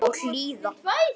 Og hlýða.